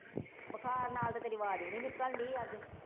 ਬੁਖਾਰ ਨਾਲ ਤੇ ਤੇਰੀ ਆਵਾਜ਼ ਵੀ ਨੀ ਨਿਕਲਣ ਡੀ ਅੱਜ।